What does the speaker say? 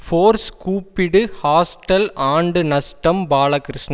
force கூப்பிடு hostel ஆண்டு நஷ்டம் பாலகிருஷ்ணன்